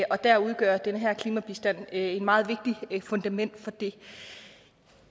og der udgør den her klimabistand et meget vigtigt fundament for det